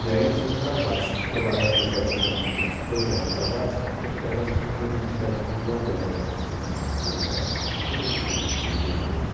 E aí fui para a VASP, trabalhar no departamento de projeto da VASP, no tempo que a VASP mudou a identidade visual dela, né, e que era, virou esse vê, aquele Vê diferente.